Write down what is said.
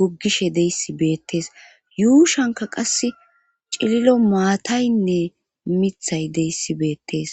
goggishe deyssi beettees yuushanka qass cililo maataynne mithay deyssi beettees